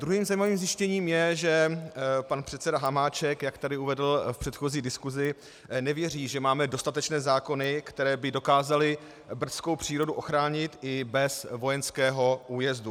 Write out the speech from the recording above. Druhým zajímavým zjištěním je, že pan předseda Hamáček, jak tu uvedl v předchozí diskusi, nevěří, že máme dostatečné zákony, které by dokázaly brdskou přírodu ochránit i bez vojenského újezdu.